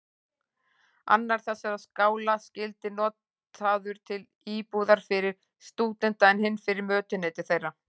Annar þessara skála skyldi notaður til íbúðar fyrir stúdenta, en hinn fyrir mötuneyti þeirra.